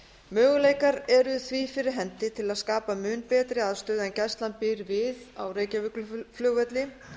möguleikar eru því fyrir hendi til að skapa mun betri aðstöðu en gæslan býr við á reykjavíkurflugvelli